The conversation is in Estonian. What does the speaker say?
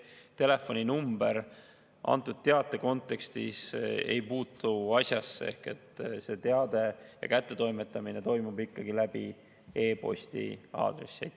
Telefoninumber antud teate kontekstis ei puutu asjasse, teate kättetoimetamine toimub ikkagi, kasutades e-posti aadressi.